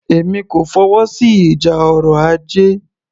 Èmi kò fọwọ́sí ìjà ọrọ̀ ajé